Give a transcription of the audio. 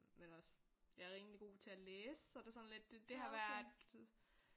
Men også jeg er rimelig god til at læse så det er sådan lidt det det har været